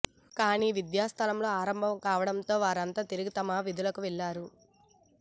కానీ విద్యాసంస్థలు ప్రారంభం కావడంతో వారంతా తిరిగి తమ విధులకు వెళ్లారు